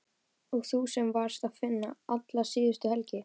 Og þú sem varst að vinna alla síðustu helgi!